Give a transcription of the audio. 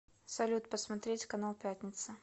салют посмотреть канал пятница